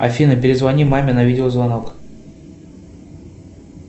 афина перезвони маме на видеозвонок